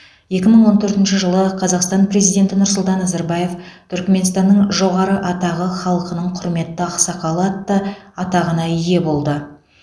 екі мың он төртінші жылы қазақстан президенті нұрсұлтан назарбаев түрікменстанның жоғары атағы халқының құрметті ақсақалы атты атағына ие болды